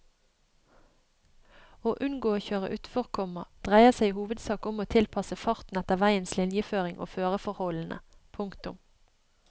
Å unngå å kjøre utfor, komma dreier seg i hovedsak om å tilpasse farten etter veiens linjeføring og føreforholdene. punktum